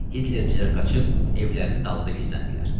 Hitlerçilər qaçıb evlərinin dalında gizləndilər.